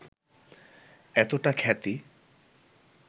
এতটা খ্যাতি